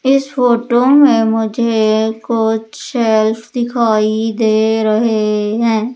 इस फोटो में मुझे कुछ चेस दिखाई दे रहे हैं।